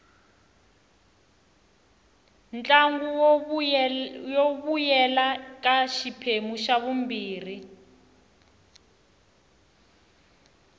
ntlangu wu vuyela ka xiphemu xa vumbirhi